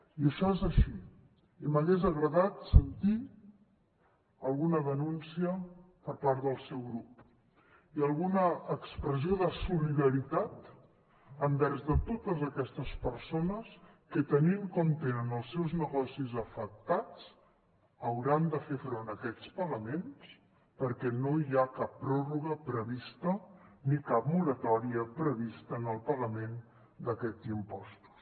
i això és així i m’hagués agradat sentir alguna denúncia per part del seu grup i alguna expressió de solidaritat envers totes aquestes persones que tenint com tenen els seus negocis afectats hauran de fer front a aquests pagaments perquè no hi ha cap pròrroga prevista ni cap moratòria prevista en el pagament d’aquests impostos